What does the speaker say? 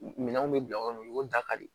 Minɛnw bɛ bila o kɔnɔ u y'o dakari